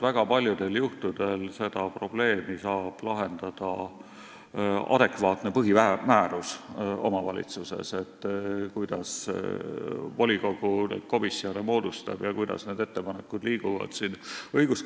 Väga paljudel juhtudel saab seda probleemi, kuidas volikogu neid komisjone moodustab ja kuidas need ettepanekud liiguvad, lahendada omavalitsuse adekvaatne põhimäärus.